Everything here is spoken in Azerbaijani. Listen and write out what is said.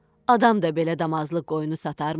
Adam da belə damazlıq qoyunu satarmı?